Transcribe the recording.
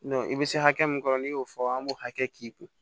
i bɛ se hakɛ min kɔrɔ n'i y'o fɔ an b'o hakɛ k'i kun